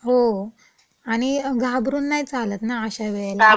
हो. आणि घाबरून नाई चालत ना अशा वेळेला.